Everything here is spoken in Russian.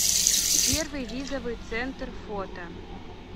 первый визовый центр фото